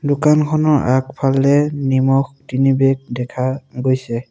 দোকানখনৰ আগফালে নিমখ তিনিবেগ দেখা গৈছে।